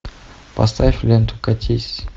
поставь ленту катись